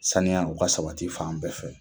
Saniya u ka sabati fan bɛɛ fɛ.